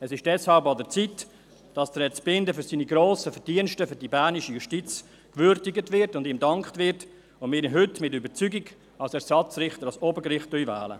Es ist deshalb an der Zeit, dass Herr Zbinden für seine grossen Verdienste für die bernische Justiz gewürdigt und ihm gedankt wird und dass wir ihn heute mit Überzeugung als Ersatzrichter ans Obergericht wählen.